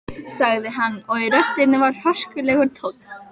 sagði hann og í röddinni var hörkulegur tónn.